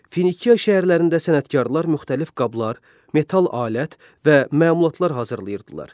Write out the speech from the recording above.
Finikiya şəhərlərində sənətkarlar müxtəlif qablar, metal alət və məmulatlar hazırlayırdılar.